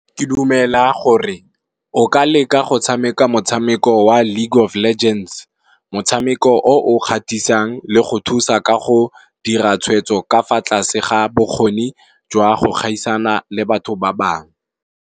Ke dumela gore o ka leka go tshameka motshameko wa League of legends, motshameko o o gatisang le go thusa ka go dira tshweetso ka fa tlase ga bokgone jwa go gaisana le batho ba bangwe.